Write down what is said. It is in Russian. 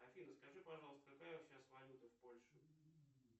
афина скажи пожалуйста какая сейчас валюта в польше